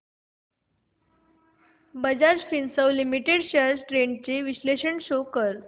Bajaj Finserv limited shares trends चे विश्लेषण show कर